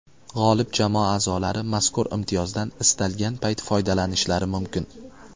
G‘olib jamoa a’zolari mazkur imtiyozdan istalgan payt foydalanishlari mumkin.